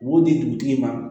U b'o di dugutigi ma